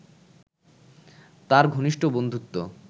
তাঁর ঘনিষ্ঠ বন্ধুত্ব